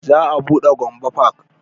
Za a buɗe gombe park